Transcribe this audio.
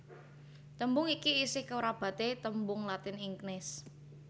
Tembung iki isih kerabaté tembung Latin ignis